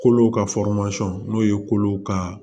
Kolo ka n'o ye kolo ka